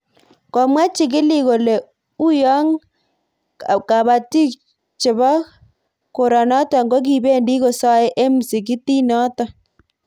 Komwa chikilik kole, uyo kabatik chebo koranotok ko kibeendi kosae eng msikitiit notok